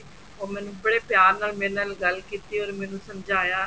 or ਮੈਨੂੰ ਬੜੇ ਪਿਆਰ ਨਾਲ ਮੇਰੇ ਨਾਲ ਗੱਲ ਕੀਤੀ or ਮੈਨੂੰ ਸਮਝਾਇਆ